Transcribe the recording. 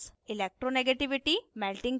2 melting point और